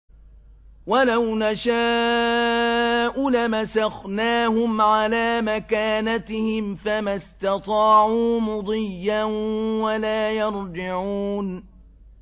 وَلَوْ نَشَاءُ لَمَسَخْنَاهُمْ عَلَىٰ مَكَانَتِهِمْ فَمَا اسْتَطَاعُوا مُضِيًّا وَلَا يَرْجِعُونَ